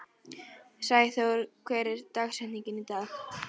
Sæþór, hver er dagsetningin í dag?